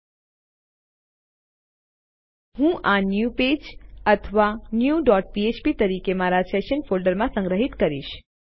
અને હું આ ન્યૂ પેજ અથવા ન્યૂ ડોટ ફ્ફ્પ તરીકે મારા સેશન્સ ફોલ્ડરમાં સંગ્રહિત કરીશ